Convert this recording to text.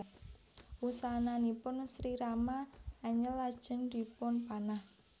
Wusananipun Sri Rama anyel lajeng dipunpanah